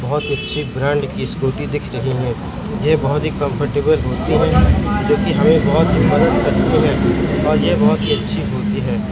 बहुत अच्छी ब्रांड की स्कूटी दिख रही है ये बहोत ही कंफर्टेबल होती है जो कि हमें बहुत ही मदद करती है और ये बहुत अच्छी होती है।